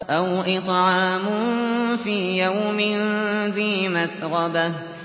أَوْ إِطْعَامٌ فِي يَوْمٍ ذِي مَسْغَبَةٍ